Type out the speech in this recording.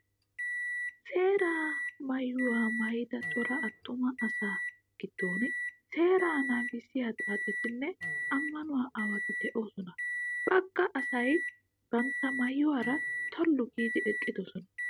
Seeraa maayyuwaa maayyida cora attuma asaa giddon seeraa nagissiyaa xaacetinne ammanuwaa aawati doosonaa. Bagga asayi banttaa maayyuwaara tollu giidi eqqidosona.